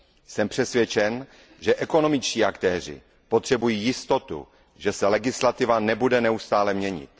Jsem přesvědčen, že ekonomičtí aktéři potřebují jistotu, že se legislativa nebude neustále měnit.